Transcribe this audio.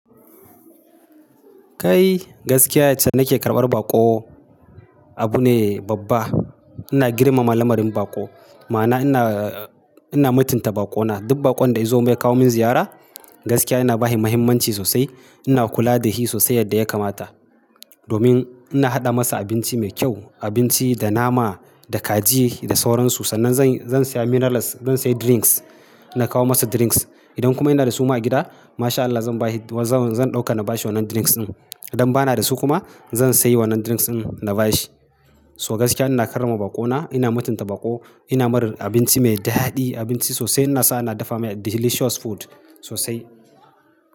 Kai gaskiya yace nake karɓar baƙo abu ne babba. Ina girmama lamarin baƙo. Ma'ana ina, ina mutunta baƙo na. Duk baƙon da ya zo mai kawo min ziyara gaskiya ina ba shi muhimmanci sosai. Ina kula da shi sosai yadda ya kamata. Domin ina haɗa masa abinci mai kyau, abinci da nama, da kaji, da sauran su. Sannan zan, zan sha minerals, zan sha drinks, na kawo masa drinks. Idan kuma yana da su ma a gida, masha Allah zan ba shi, zan ɗauka na ba shi wannan drinks din. Idan ba na da su kuma zan sayi wannan drinks din na ba shi. So gaskiya ina karrama baƙo na, ina mutunta baƙo, ina yi mar abinci mai daɗi, abinci sosai. Na sa na dafa mai delicious food sosai.